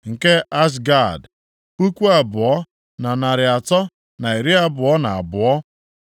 nke Azgad, puku abụọ, na narị atọ na iri abụọ na abụọ (2,322),